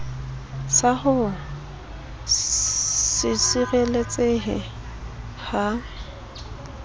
sa ho se sireletsehe ha